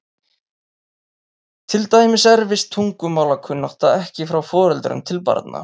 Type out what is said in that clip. Til dæmis erfist tungumálakunnátta ekki frá foreldrum til barna.